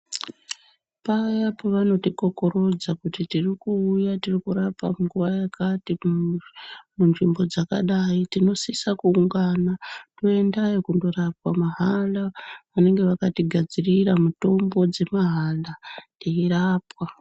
Paya pavanotikokorodza kuti tirikuuya tirikurapa nguva yakati munzvimbo dzakadai. Tinosisa kuungana toendayo kunorapwa mahala vanenga vakatigadzirira mitombo dzemahala eirapwa.